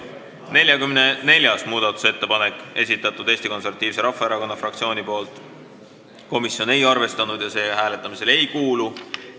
44. muudatusettepaneku on esitanud Eesti Konservatiivse Rahvaerakonna fraktsioon, komisjon ei ole arvestanud ja see hääletamisele ei kuulu.